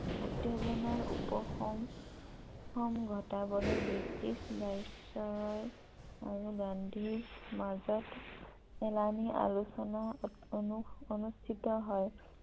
উত্তেজনাৰ উপশম ঘটাবলৈ ব্ৰিটিছ ভাইছৰয় আৰু গান্ধীৰ মাজত এলানি আলোচনা অনুস্থিত হয় ।